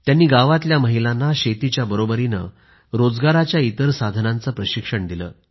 त्यांनी गावातल्या महिलांना शेतीच्या बरोबरच रोजगाराच्या इतर साधनांचे प्रशिक्षण दिलं